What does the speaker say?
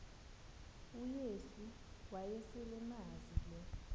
uyesu wayeselemazi lo